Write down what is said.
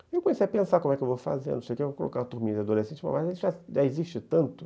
E eu comecei a pensar como é que eu vou fazer, vou colocar turminhas adolescentes, mas já existe tanto?